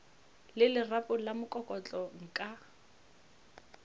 le lerapo la mokokotlo nka